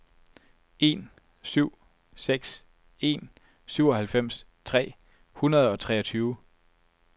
en syv seks en syvoghalvfems tre hundrede og treogtyve